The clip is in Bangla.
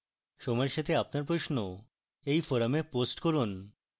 সময়ের সাথে আপনার প্রশ্ন এই forum post করুন